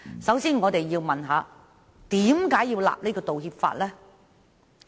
首先，我們要問：為何要訂立道歉法呢？